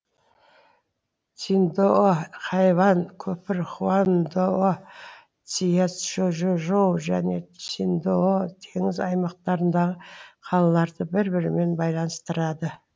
циндао хайван көпірі хуаңдао цзяочжоу және циндао теңіз аймақтарындағы қалаларды бір бірімен байланыстырады